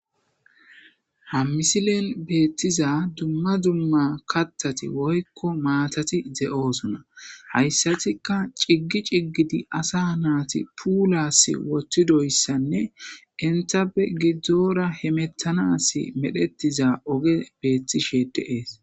Ha misile betiza duma duma kathati woylo maatati de'osona haysatika cigi cigidi ada nayti pulas wothousanne entape gidora hemetanasi medhetida ogey betishe de'es